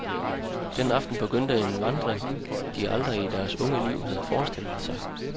Den aften begyndte en vandring, de aldrig i deres unge liv havde forestillet sig.